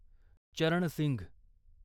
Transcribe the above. चरण सिंघ